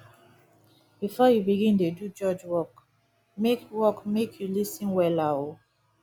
bifor yu begin dey do judge work mek work mek yu lis ten wella o